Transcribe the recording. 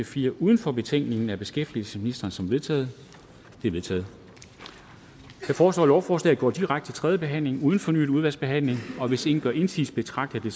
fire uden for betænkningen af beskæftigelsesministeren som vedtaget de er vedtaget jeg foreslår at lovforslaget går direkte til tredje behandling uden fornyet udvalgsbehandling hvis ingen gør indsigelse betragter